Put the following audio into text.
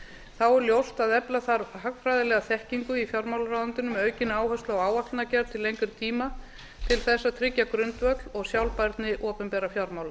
þá er ljóst að efla þarf hagfræðilega þekkingu í fjármálaráðuneytinu með aukinni áherslu á áætlanagerð til lengri tíma til að tryggja grundvöll og sjálfbærni opinberra fjármála